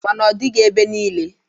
Ma n'ọdịghị ebe niile.